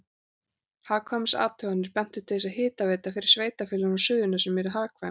Hagkvæmniathuganir bentu til þess að hitaveita fyrir sveitarfélögin á Suðurnesjum yrði hagkvæm.